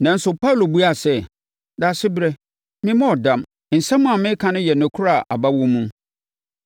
Nanso, Paulo buaa sɛ, “Daasebrɛ, memmɔɔ dam. Nsɛm a mereka no yɛ nokorɛ a aba wɔ mu.